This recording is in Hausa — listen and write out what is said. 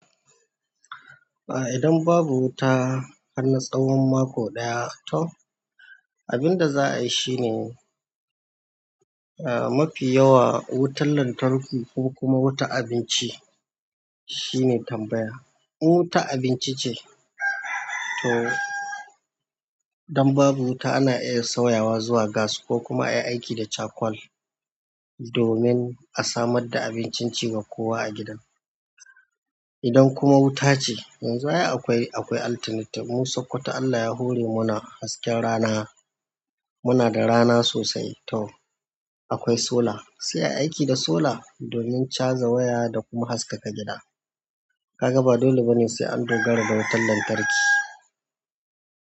Idan babu wuta har na tsawon mako ɗaya to abinda za a yi shine, mafi yawa wutan lantarki kuma wuta abinci shine tambaya. In wuta abinci ce to idan babu wuta ana iya sauyawa zuwa gas ko kuma ayi aiki da charcoal domin a samar da abincin ci wa kowa a gidan. Idan kuma wuta ce yanzu akwai alternative. Mu sokoto Allah ya hore mu na hasken rana. Muna da rana sosai to akwai sola. Sai a yi aiki da sola domin chaza waya da kuma haskaka gida. Ka ga ba dole ba ne sai an dogara da wutan lantarki.